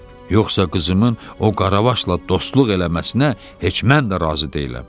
Yoxsa qızımın o qaravaşla dostluq eləməsinə heç mən də razı deyiləm.